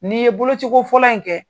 N'i ye boloci ko fɔlɔ in kɛ,